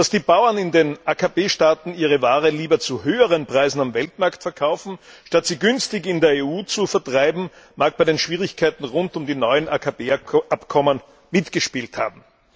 Dass die Bauern in den AKP Staaten ihre Ware lieber zu höheren Preisen auf dem Weltmarkt verkaufen, statt sie günstig in der EU zu vertreiben, mag bei den Schwierigkeiten rund um die neuen AKP Abkommen eine Rolle gespielt haben.